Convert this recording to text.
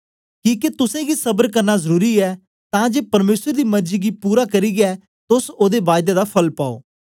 किके तुसेंगी सबर करना जरुरी ऐ तां जे परमेसर दी मर्जी गी पूरी करियै तोस ओदे बायदे दा फल पाओ